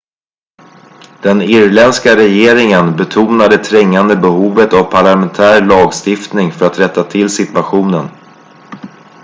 den irländska regeringen betonar det trängande behovet av parlamentär lagstiftning för att rätta till situationen